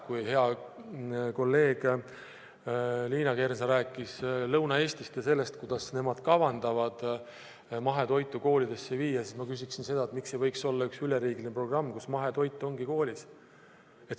Kui hea kolleeg Liina Kersna rääkis Lõuna-Eestist ja sellest, kuidas nemad kavandavad mahetoitu koolidesse viia, siis ma küsiksin seda, et miks ei võiks olla üks üleriigiline programm, nii et mahetoit olekski koolis.